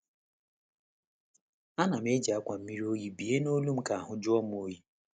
A nam eji akwa mmiri oyi bie nolu m ka ahụ jụọ m oyi.